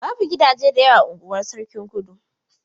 Babu gidaje da yawa a unguwar Sarkin Kudu.